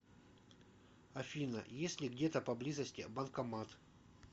афина есть ли где то поблизости банкомат